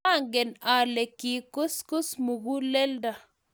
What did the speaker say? maangen ale ki kuskus muguleldo